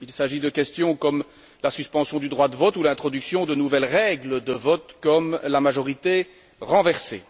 Il s'agit de questions comme la suspension du droit de vote ou l'introduction de nouvelles règles de vote comme la majorité renversée.